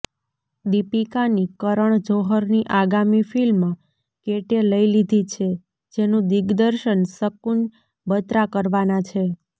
દીપિકાની કરણ જોહરની આગામી ફિલ્મ કેટે લઇ લીધી છે જેનું દિગ્દર્શન શકુન બત્રા કરવાના છે